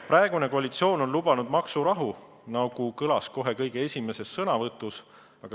Praegune koalitsioon on lubanud maksurahu, nagu kõlas kõige esimeses sõnavõtus.